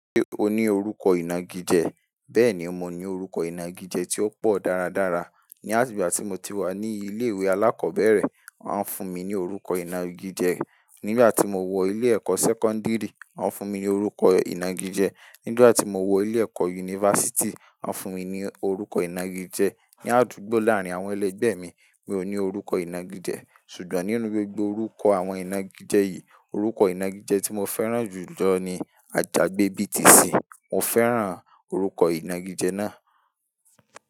Ṣé o ní orúkọ ìnagijẹ? Bẹ́ẹ̀ni mo ní orúkọ ìnagijẹ tí ó pọ̀ dáradára. Ni àti gba ti mo ti wà ní ilé ìwé alákọ̀bẹ́rẹ̀, wọ́n fún mi ní orúkọ ìnagijẹ. Nigba ti mo wọ ilé ẹ̀kọ́ sẹ́kọ́ńdírì, wọn fún mi ní orúkọ ìnagijẹ. Nigba ti mo wọ ilé ẹ̀kọ́ yunifásítì, wọn fún mi ní orúkọ ìnagijẹ. Ni àdúgbò láàrin àwọn ẹlẹgbẹ́ mi, mi ò ní orúkọ ìnagijẹ. Sugbon nínú gbogbo orúkọ àwọn ìnagijẹ yìí, orúkọ ìnagijẹ tí mo fẹ́ràn jù lọ ni Ajagbe BTC. Mo fẹ́ràn orúkọ ìnagijẹ náà.